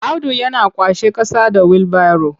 Audu yana kwashe ƙasa da wilbaro.